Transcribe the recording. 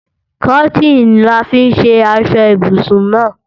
Kọ́tìnì là fi ṣe aṣọ ibùsùn náà